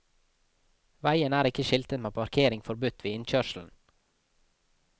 Veien er ikke skiltet med parkering forbudt ved innkjørselen.